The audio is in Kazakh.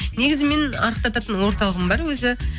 негізі менің арықтатын орталығым бар өзі